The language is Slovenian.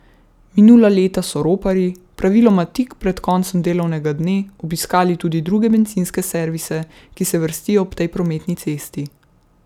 Minula leta so roparji, praviloma tik pred koncem delovnega dne, obiskali tudi druge bencinske servise, ki se vrstijo ob tej prometni cesti.